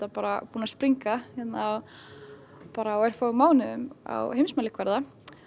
búið að springa á örfáum mánuðum á heimsmælikvarða